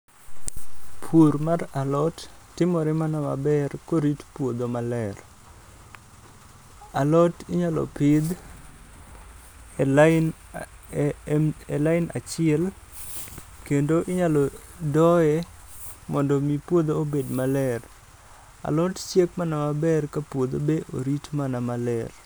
Pur mar alot timore mana maber korit puodho maler. Alot inyalo pidh e alin achiel kendo inyalo doye mondo mi puodho obed maler. Alot chiek maber ka puodho be orit mana maler.